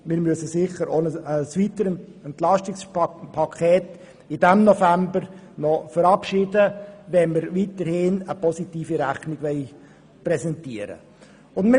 Wir müssen in diesem November sicher noch ein weiteres Entlastungspaket verabschieden, wenn wir weiterhin eine positive Rechnung präsentieren wollen.